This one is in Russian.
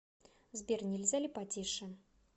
сбер нельзя ли потише